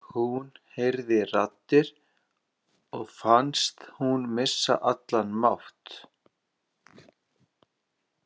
Hún heyrir raddir og finnst hún missa allan mátt.